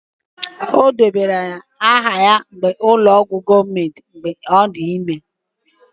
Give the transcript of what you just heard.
Ọ debanyere aha ya n'ụlọ ọgwụ gọọmentị mgbe ọ dị ime